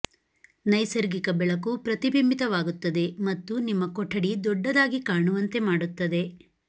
ನೈಸರ್ಗಿಕ ಬೆಳಕು ಪ್ರತಿಬಿಂಬಿತವಾಗುತ್ತದೆ ಮತ್ತು ನಿಮ್ಮ ಕೊಠಡಿ ದೊಡ್ಡದಾಗಿ ಕಾಣುವಂತೆ ಮಾಡುತ್ತದೆ